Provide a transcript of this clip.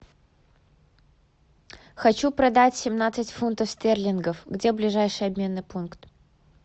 хочу продать семнадцать фунтов стерлингов где ближайший обменный пункт